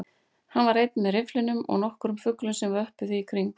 Hann var einn með rifflinum og nokkrum fuglum sem vöppuðu í kring